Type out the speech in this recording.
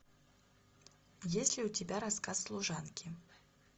есть ли у тебя рассказ служанки